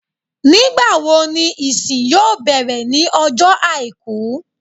Nígbàwo ni ìsin yóò bẹ̀rẹ̀ ní ọjọ́ Àìkú